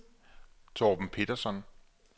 Torben Petersson